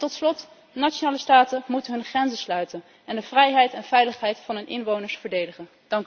En tot slot, nationale staten moeten hun grenzen sluiten en de vrijheid en veiligheid van hun inwoners verdedigen.